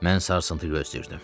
Mən sarsıntı gözləyirdim.